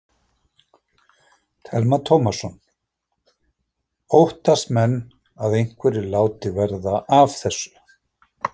Telma Tómasson: Óttast menn að einhverjir láti verða af þessu?